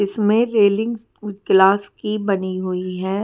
इसमें railings glass की बनी हुई है।